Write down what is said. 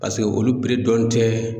Paseke olu dɔnnen tɛ